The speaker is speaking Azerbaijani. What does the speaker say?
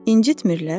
İncitmirlər?